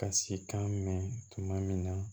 Ka si kan mɛn tuma min na